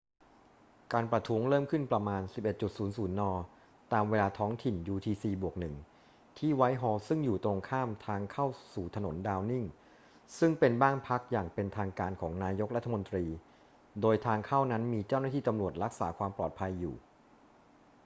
การประท้วงเริ่มขึ้นประมาณ 11.00 น. ตามเวลาท้องถิ่น utc+1 ที่ไวท์ฮอลล์ซึ่งอยู่ตรงข้ามทางเข้าสู่ถนนดาวนิงซึ่งเป็นบ้านพักอย่างเป็นทางการของนายกรัฐมนตรี โดยทางเข้านั้นมีเจ้าหน้าที่ตำรวจรักษาความปลอดภัยอยู่